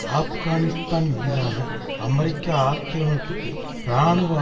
ஆப்கானிஸ்தான் மீதான அமெரிக்க ஆக்கிரமிப்புக்கு இராணுவ